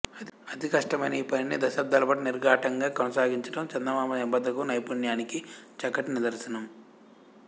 అతి కష్టమైన ఈ పనిని దశాబ్దాలపాటు నిరాఘాటంగా కొనసాగించడం చందమామ నిబద్ధతకు నైపుణ్యానికి చక్కటి నిదర్శనం